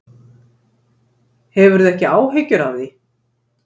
Hefur þú ekki áhyggjur af því?